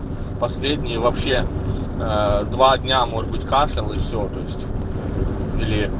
последнее вообще два дня может быть кашлял и все